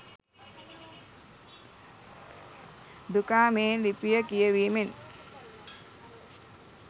දුකාමේ ලිපිය කියැවීමෙන්